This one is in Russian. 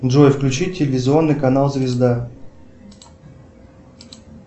джой включи телевизионный канал звезда